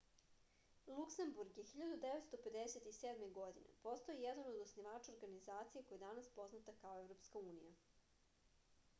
luksemburg je 1957. godine postao jedan od osnivača organizacije koja je danas poznata kao evropska unija